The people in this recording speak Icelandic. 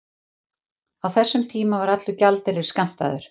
Á þessum tíma var allur gjaldeyrir skammtaður.